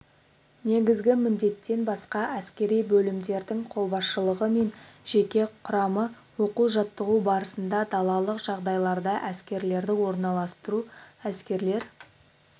негізгі міндеттен басқа әскери бөлімдердің қолбасшылығы мен жеке құрамы оқу-жаттығу барысында далалық жағдайларда әскерлерді орналастыру әскерлер